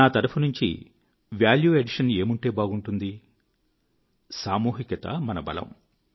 నా తరఫునుంచి value addition ఏముంటే బాగుంటుంది సామూహికత మన బలం